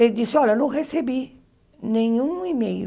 Ele disse, olha, não recebi nenhum e-mail.